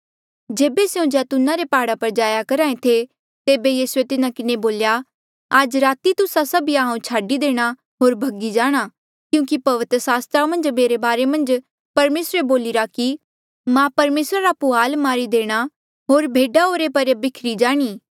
जेबे स्यों जैतूना रे प्हाड़ा पर जाया करहा ऐें थे तेबे यीसूए तिन्हा किन्हें बोल्या आज राती तुस्सा सभिया हांऊँ छाडी देणा होर भगी जाणा क्यूंकि पवित्र सास्त्रा मन्झ मेरे बारे मन्झ परमेसरे बोलिरा कि मां परमेसरा पुहाल मारी देणा होर भेडा बिखरी जाणी